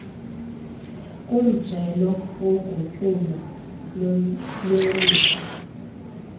kumjelo wogutyulo lwelindle